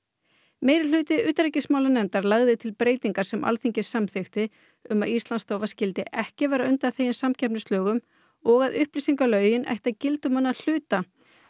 meirihluti utanríkismálanefndar lagði til breytingar sem Alþingi samþykkti um að Íslandsstofa skyldi ekki vera undanþegin samkeppnislögum og að upplýsingalög ættu að gilda um hana að hluta